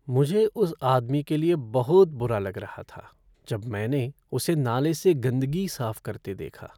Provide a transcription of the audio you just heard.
मुझे उस आदमी के लिए बहुत बुरा लग रहा था जब मैंने उसे नाले से गंदगी साफ करते देखा।